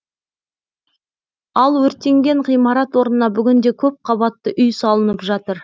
ал өртенген ғимарат орнына бүгінде көпқабатты үй салынып жатыр